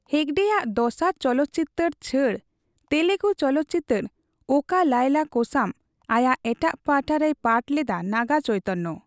ᱦᱮᱜᱰᱮ ᱟᱜ ᱫᱚᱥᱟᱨ ᱪᱚᱞᱚᱛᱪᱤᱛᱟᱹᱨ ᱪᱷᱟᱹᱲ, ᱛᱮᱞᱮᱜᱩ ᱪᱚᱞᱚᱛᱪᱤᱛᱟᱹᱨ ᱳᱠᱟ ᱞᱟᱭᱞᱟ ᱠᱳᱥᱟᱢ, ᱟᱭᱟᱜ ᱮᱴᱟᱜ ᱯᱟᱦᱟᱴᱟ ᱨᱮᱭ ᱯᱟᱴ ᱞᱮᱫᱟ ᱱᱟᱜᱟ ᱪᱳᱭᱛᱚᱱᱱᱚ ᱾